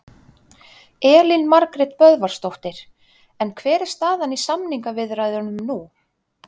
Elín Margrét Böðvarsdóttir: En hver er staðan í samningaviðræðunum nú?